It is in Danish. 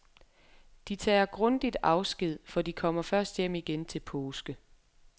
De tager grundigt afsked, for de kommer først hjem igen til påske.